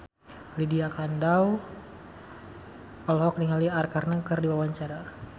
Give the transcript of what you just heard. Lydia Kandou olohok ningali Arkarna keur diwawancara